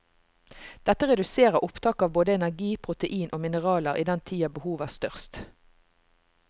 Dette reduserer opptaket av både energi, protein og mineraler i den tida behovet er størst.